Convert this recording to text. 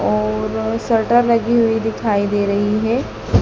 और शटर लगी हुई दिखाई दे रही है।